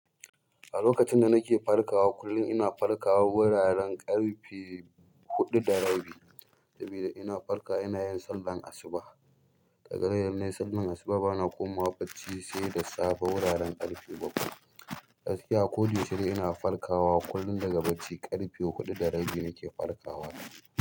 A lokacin da nake farkawa kullum, ina farkawa guraren ƙarfe huɗu da rabi, sabida ina farkawa ina yin sallar asuba. Ƙaga yanzu ne sallar asuba bana komawa bacci sai da safe wuraren ƙarfe bakwai. Gaskiya a ko da yaushe ni ina farkawa kullum daga bacci. Ƙarfe huɗu da rabi nake farkawa.